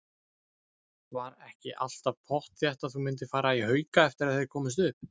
Var ekki alltaf pottþétt að þú myndir fara í Hauka eftir að þeir komust upp?